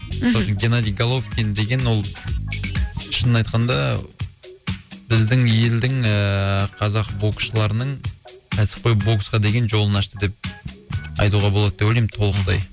мхм геннадий головкин деген ол шынын айтқанда ааа біздің елдің ыыы қазақ боксшылырының кәсіпқой боксқа деген жолын ашты деп айтуға болады деп ойлаймын толықтай